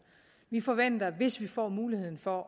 vi forventer at vi hvis vi får muligheden for